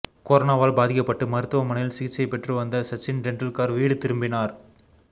கொரோனாவால் பாதிக்கப்பட்டு மருத்துவமனையில் சிகிச்சை பெற்று வந்த சச்சின் டெண்டுல்கர் வீடு திரும்பினார்